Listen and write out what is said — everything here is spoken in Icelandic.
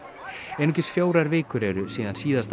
einungis fjórar vikur eru síðan síðasta